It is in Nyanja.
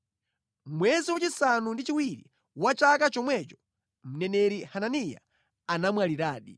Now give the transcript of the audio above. Mʼmwezi wachisanu ndi chiwiri wa chaka chomwecho, mneneri Hananiya anamwaliradi.